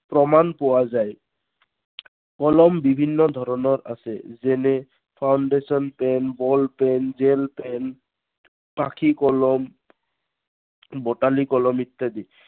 প্ৰমাণ পোৱা যায়। কলম বিভিন্ন ধৰনৰ আছে। যেনে foundation pen, ball pen, gel pen পাখী কলম, বটালি কলম ইত্য়াদি।